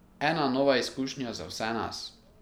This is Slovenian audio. Ena nova izkušnja za vse nas.